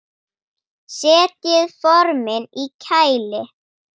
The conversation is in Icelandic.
Setjið formin í kæli.